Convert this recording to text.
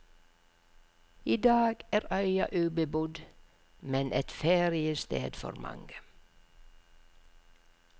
I dag er øya ubebodd, men et feriested for mange.